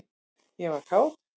ég var kát.